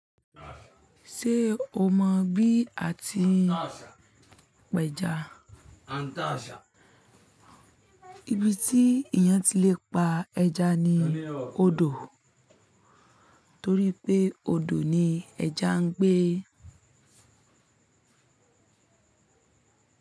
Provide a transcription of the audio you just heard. Ṣé o mọ bí a ti ń pẹja? Ibi tí èèyàn ti le pa ẹja ni odò torí pé odò ni ẹja ń gbé.